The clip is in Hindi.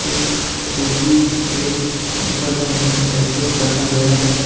एक कुर्सी एक ऊपर जाने का स्टेयरकेस रखा गया है।